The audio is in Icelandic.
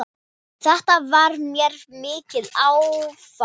Þetta varð mér mikið áfall.